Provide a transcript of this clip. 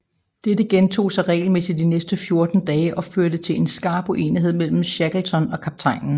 Dette gentog sig regelmæssigt de næste fjorten dage og førte til en skarp uenighed mellem Shackleton og kaptajnen